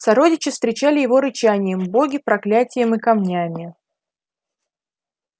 сородичи встречали его рычанием боги проклятием и камнями